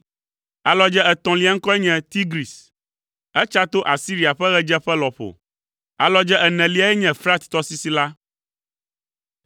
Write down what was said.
Alɔdze etɔ̃lia ŋkɔe nye Tigris. Etsa to Asiria ƒe ɣedzeƒe lɔƒo. Alɔdze eneliae nye Frat tɔsisi la.